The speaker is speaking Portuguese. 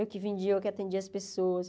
Eu que vendia, eu que atendia as pessoas.